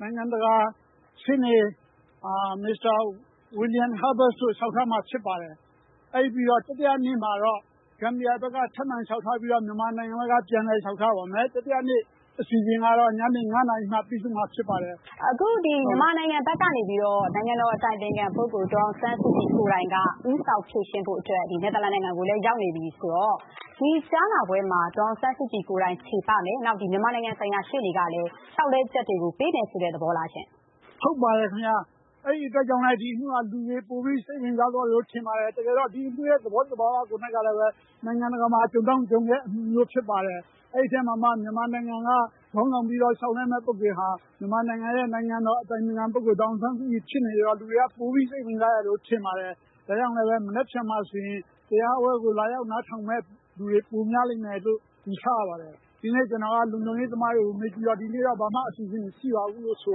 နိုင်ငံတကာရှေ့နေ ပါမောက္ခ William Schabas တို့လျှောက်ထားမှာ ဖြစ်ပါတယ်။ အဲဒါပြီးတော့ တတိယနေ့မှာတော့ ဂမ်ဘီယာဘက်က ထပ်မံလျှောက်ထားပြီးတော့ မြန်မာနိုင်ငံဘက်က ပြန်လည်လျှောက်ထားရပါမယ်။ တတိယနေ့အစီအစဉ်ကတော့ ညနေ ၅ နာရီမှာ ပြီးဆုံးမှာဖြစ်ပါတယ်။ ဒီနုတ်တိုက်ကြားနားပွဲမှာ မြန်မာနိုင်ငံဘက်က နိုင်ငံတော်အတိုင်ပင်ခံ ပုဂ္ဂိုလ် ဒေါ်အောင်ဆန်းစုကြည်ကိုယ်တိုင် ဦးဆောင် ဖြေရှင်းဖို့အတွက် အခု နယ်သာလန်နိုင်ငံကို ရောက်နေပြီဆိုတာလည်း သိထားရပါတယ်။ ဒီတော့ ဒီကြားနာပွဲတွေမှာ ဒေါ်အောင်ဆန်းစုကြည်ကိုယ်တိုင် ချေပမယ်၊ နောက် မြန်မာနိုင်ငံဆိုင်ရာ ရှေ့နေကလည်း လျှောက်လဲချက်တွေ ပေးမယ်ဆိုတဲ့ သဘောလားရှင့်။ ဟုတ်ပါတယ်ခင်ဗျ အဲဒါကြောင့်လည်း ဒီအမှုမှာ လူတွေပိုပြီး စိတ်ဝင်စားတယ်လို့ ကျနော်ထင်ပါတယ်။ တကယ်တော့ ဒီအမှုရဲ့ သဘောသဘာဝက နိုင်ငံတကာမှာ ကြုံတောင့်ကြုံခဲဖြစ်ပါတယ်။ အဲဒီအထဲမှာမှ မြန်မာနိုင်ငံက ခေါင်းဆောင်လုပ်ပြီး လျှောက်လဲမယ့် ပုဂ္ဂိုလ်ဟာ မြန်မာနိုင်ငံ နိုင်ငံတော်အတိုင်ပင်ခံ ပုဂ္ဂိုလ် ဒေါ်အောင်ဆန်းစုကြည်ဖြစ်နေတော့ လူတွေပိုပြီး စိတ်ဝင်စားတယ်လို့ ကျနော်ထင်ပါတယ်။ ဒါကြောင့် မနက်ဖြန်မှာဆိုရင် လာရောက်နားထောင်မယ့်သူတွေ ပိုများမယ်လို့ ယူဆရပါတယ်။ ဒီနေ့ ကျနော်က လုံခြုံရေးတွေကို မေးကြည့်တော့ ဒီနေ့ ဘာမှ အစီအစဉ်မရှိပါဘူးလို့ ဆို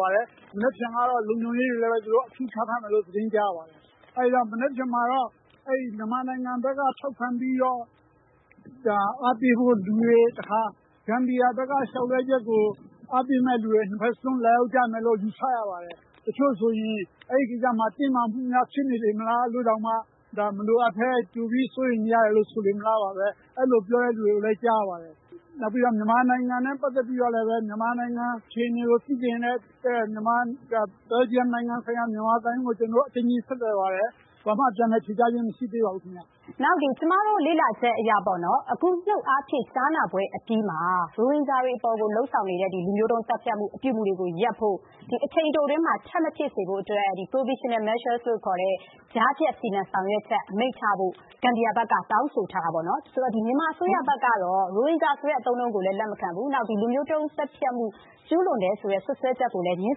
ပါတယ်။ မနက်ဖြန်ကတော့ လုံခြုံရေးတွေလည်း အပြည့်ချထားမယ်လို့ သတင်းကြားရပါတယ်။ မနက်ဖြန်မှာတော့ မြန်မာဘက်က ထောက်ခံပြီးတော့ အားပေးဖို့အတွက် လူတွေ၊ တခါ ဂမ်ဘီယာဘက်က လျှောက်လဲချက်ကို အားပေးမယ့်သူတွေ ၂ ဖက်စလုံး လာရောက်ကြမယ်လို့ ယူဆရပါတယ်။ တချို့ဆိုရင် အဲဒီမှာ တင်းမာမှုများဖြစ်နေမလားဆိုပြီးတော့ မလိုအပ်ကြိုပြီးစိုးရိမ်နေမလား လို့ ပြောနေတဲ့လူတွေလည်း ကြားရပါတယ်။ နောက်ပြီးတော့ မြန်မာနိုင်ငံနဲ့ ပတ်သက်ပြီးတော့ အခြေအနေကို သိချင်တဲ့အတွက် ဘယ်ဂျီယမ်ဆိုင်ရာ မြန်မာသံရုံးကို ကျနော်တို့ ဆက်သွယ်ပါတယ်။ ဘာမှ ပြန်လည်ဖြေကြားခြင်းမရှိသေးပါဘူး။ ကျမတို့ လေ့လာထားချက်အရ၊ အခု နုတ်အားဖြင့် ကြားနာပွဲတွေအပြီးမှာ ရိုဟင်ဂျာတွေအပေါ် လုပ်ဆောင်နေတဲ့ လူမျိုးတုံးသတ်ဖြတ်မှု အပြုအမှုတွေကို ရပ်ဖို့ ၊ အချိန်အတိုအတွင်းမှာ ထပ်မဖြစ်စေဖို့အတွက် provisional measures ခေါ် ကြားဖြတ် စီမံဆောင်ရွက်ချက် အမိန့်ချဖို့ ဂမ်ဘီယာဘက်က တောင်းဆိုထားပါတယ်။ မြန်မာအစိုးရဘက်က ရိုဟင်ဂျာဆိုတဲ့ အသုံးအနှုန်းကို လက်မခံပါဘူး၊ နောက် လူမျိုးတုံး သတ်ဖြတ်မှု ကျုးလွန်တယ်ဆိုတဲ့ စွတ်စွဲချက်ကိုလည်း ငြင်း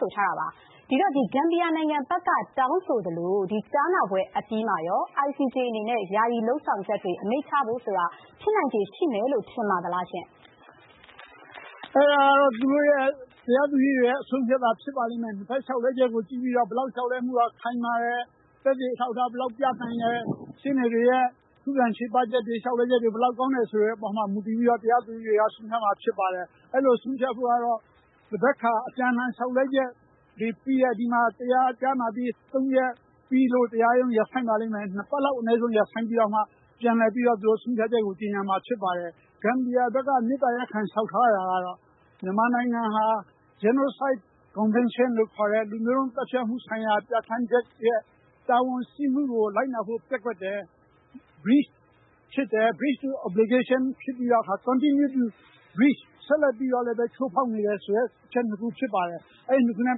ဆိုထားပါတယ်။ ဒီတော့ ဂမ်ဘီယာနိုင်ငံဘက်က တောင်းဆိုသလို ကြားနာပွဲအပြီးမှာ ICJ အနေနဲ့ ယာယီလုပ်ဆောင်ချက်တွေ အမိန့်ချဖို့ဆိုတာ ဖြစ်နိုင်ခြေ ရှိမယ်လို့ ထင်ပါသလား။ ဒါကတော့ တရားသူကြီးတွေရဲ့ အဆုံးအဖြတ်သာ ဖြစ်ပါလိမ့်မယ်။ လျှောက်လဲချက်တွေကို ကြည့်ပြီးတော့ ဘယ်လောက်ခိုင်မာတယ်၊ သက်သေအထောက်အထား ဘယ်လောက်ပြနိုင်တယ်။ ရှေ့နေတွေရဲ့ ခုခံချေပချက်တွေ လျှောက်လဲချက်တွေကို မူတည်ပြီးတော့ တရားသူကြီးတွေ ဆုံးဖြတ်မှာပါ။ အဲဒီလို ဆုံးဖြတ်ဖို့ကတော့ တဘက်ခါ အပြန်အလှန် လျှောက်လဲချက်တွေ ပြီးတဲ့အခါမှ တရားကြားနာပြီး ဆုံးဖြတ်ပြီးလို့ ၂ ပတ်လောက် အနည်းဆုံးရပ်ဆိုင်းပြီးတော့ ပြန်လည်ပြီးတော့ ဆုံးဖြတ်ချက်ကို တင်ရမှာဖြစ်ပါတယ်။ ဂမ်ဘီယာနိုင်ငံဘက်က မေတ္တာရပ်ခံ လျှောက်ထားတာကတော့ မြန်မာနိုင်ငံဟာ Genocide convention လို့ခေါ်တဲ့ လူမျိုးတုံးမှုဆိုင်ရာ ပြဌာန်းချက် တာဝန်ရှိမှုကို လိုက်နာဖို့ ပျက်ကွက်တယ် breach ဖြစ်တယ် ။ ဆက်လက်ပြီးတော့ ချိုးဖောက်နေတယ် continue to breach ဆိုတဲ့ အချက် ၂ ခုဖြစ်ပါတယ်။ အဲဒါနဲ့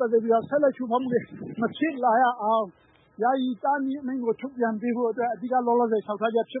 ပတ်သက်ပြီးတော့ ဆက်လက်ချိုးဖောက်မှုတွေ မဖြစ်လာရအောင် ယာယီတားမြစ်အမိန့်ကို ထုတ်ပြန်ပေးဖို့အတွက် အဓိက လောလောဆည် လျှောက်ထားချက်ဖြစ်ပါ